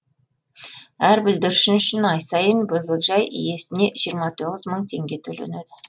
әр бүлдіршін үшін ай сайын бөбекжай иесіне жиырма тоғыз мың теңге төленеді